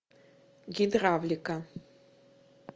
гидравлика